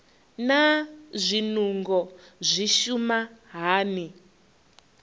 naa zwinungo zwi shuma hani